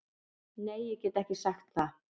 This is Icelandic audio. Nei ég get ekki sagt það.